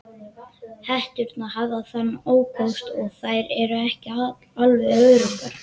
Hetturnar hafa þann ókost að þær eru ekki alveg öruggar.